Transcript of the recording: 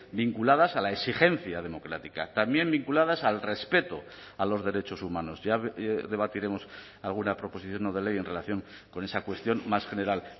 vinculadas a la exigencia democrática también vinculadas al respeto a los derechos humanos ya debatiremos alguna proposición no de ley en relación con esa cuestión más general